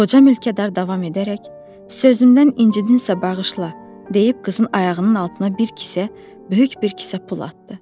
Qoca mülkədar davam edərək: Sözümdən incidinnsə bağışla, deyib qızın ayağının altına bir kisə, böyük bir kisə pul atdı.